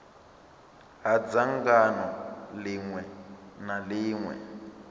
ha dzangano ḽiṅwe na ḽiṅwe